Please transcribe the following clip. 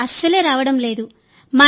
bill అస్సలే రావడం లేదు